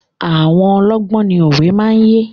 Àwọn ọlọ́gbọ́n ni òwe máa ń yé.